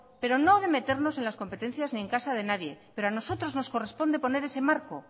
pero no de meternos en las competencias ni en casa de nadie pero a nosotros nos corresponde poner ese marco